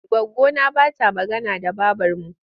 Goggona ba ta magana da babarmu.